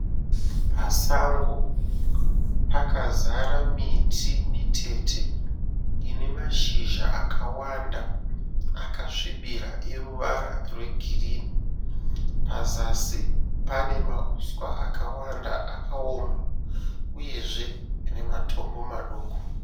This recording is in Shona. Pasango, pakazara miti mitete ine mashizha akawanda akasvibira eruvara rwegirinhi. Pazasi pane mahuswa akawanda akaoma, uyezve nematombo maduku.